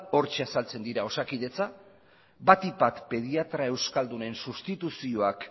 hortxe azaltzen dira osakidetza batik bat pediatra euskaldunen sustituzioak